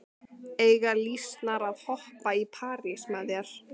Eiga lýsnar að hoppa í parís með þér?